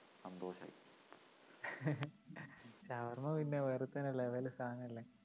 ഷവർമ്മ പിന്നെ വേറെ തന്നെ level ഉ സാധനല്ലേ?